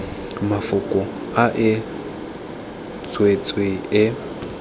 mafoko a e tswetswe e